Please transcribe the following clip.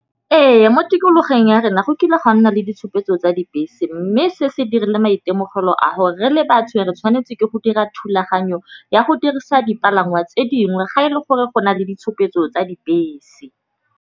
Ee, mo tikologong ya rena go kile gwa nna le ditshupetso tsa dibese, mme se se dirile maitemogelo a gore re le batho re tshwanetse ke go dira thulaganyo ya go dirisa dipalangwa tse dingwe. Ga e le gore go na le ditshupetso tsa dibese.